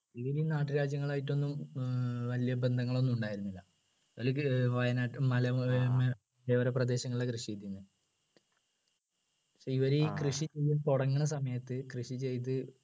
ഇതിനെ ഈ നാട്ടുരാജ്യങ്ങളായിട്ടൊന്നും ഏർ വലിയ ബന്ധങ്ങൾ ഒന്നും ഉണ്ടായിരുന്നില്ല ഏർ വയനാട്ടി മലയോര പ്രദേശങ്ങളിൽ കൃഷി ചെയ്തിരുന്നേ ഇവര് ഈ കൃഷി തുടങ്ങുന്ന സമയത്ത് കൃഷി ചെയ്ത്